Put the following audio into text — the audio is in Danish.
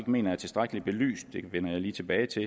mener er tilstrækkeligt belyst det vender jeg lige tilbage til